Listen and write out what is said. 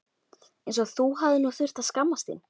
eins og þú þurfir nú að skammast þín!